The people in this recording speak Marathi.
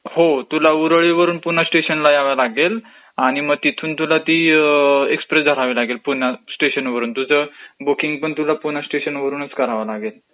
हो तुला ऊरळीवरून पुन्हा स्टेशनला यावं लागेल, आणि तिथून मग तुला ती एक्स्प्रेस धरावी लागेल पुणास्टेशन, तुझ बुकींगपण पुणा स्टेशनवरूनच करावं लागेल.